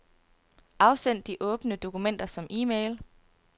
Afsend de åbne dokumenter som e-mail.